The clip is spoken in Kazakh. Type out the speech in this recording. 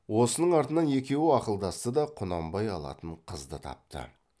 осының артынан екеуі ақылдасты да құнанбай алатын қызды тапты